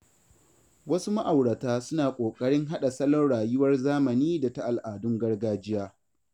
Wasu ma’aurata suna ƙoƙarin haɗa salon rayuwar zamani da ta al’adun gargajiya.